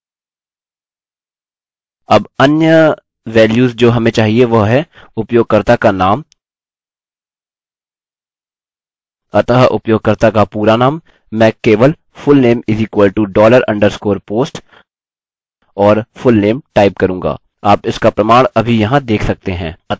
अब अन्य वैल्यूस जो हमें चाहिए वह हैं उपयोगकर्ता का नाम अतः उपयोगकर्ता का पूरा नाम मैं केवल fullname =$ underscore post और fullname टाइप करूँगा आप इसका प्रमाण अभी यहाँ देख सकते हैं